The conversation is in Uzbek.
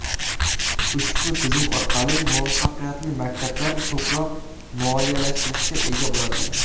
Ushbu tizim orqali muvaffaqiyatli maktablar ko‘proq moliyalashtirishga ega bo‘ladilar.